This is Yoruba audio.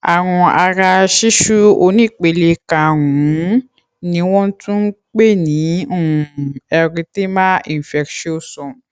àrùn ara ṣíṣú onípele karùn ún ni wọ́n tún ń pè ní um erythema infectiosum